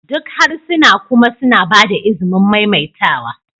Duk harsuna kuma suna ba da izinin maimaitawa